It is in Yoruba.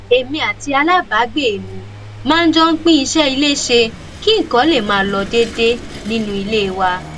èmi àti alábàágbé mi máa ń jọ pín iṣé ilé ṣe kí nǹkan lè máa lọ déédéé nínú ilé wa